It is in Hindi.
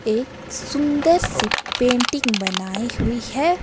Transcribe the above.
एक सुंदर सी पेंटिंग बनाई हुई है।